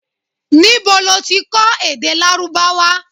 Nibo lo ti kọ èdè Lárúbáwá?